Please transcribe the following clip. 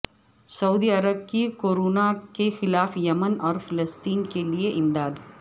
سعودی عرب کی کورونا کے خلاف یمن اور فلسطین کے لیے امداد